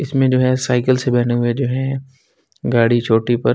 इसमें जो है साइकिल से बने हुए जो हैं गाड़ी चोटी पर --